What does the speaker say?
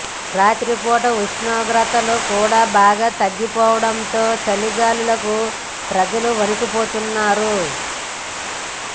రాత్రిపూట ఉష్ణోగ్రతలు కూడా బాగా తగ్గపోతుండటంతో చలి గాలులకు ప్రజలు వణికిపోతున్నారు